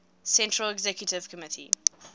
central executive committee